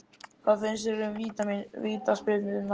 Hvað fannst þér um vítaspyrnurnar?